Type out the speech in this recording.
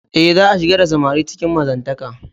E, za'a shigar da samari cikin mazantaka.